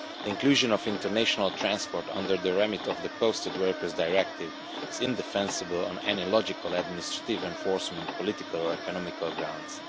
The inclusion of international transport under the remit of the Posted Workers Directive is indefensible on any logical, administrative, enforcement, political or economic grounds.